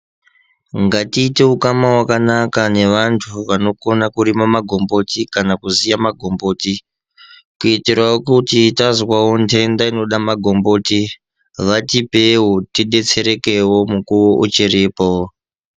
Ngatiite ukama hwakanaka nevantu vanokona kurima magomboti kana kuziva magomboti kuitirawo kuti tazwawo ndenda inoda magomboti vatipewo tibetserekewo mukuwo uchiripo.